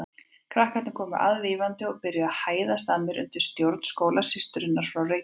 Krakkarnir komu aðvífandi og byrjuðu að hæðast að mér undir stjórn skólasysturinnar frá Reykjavík.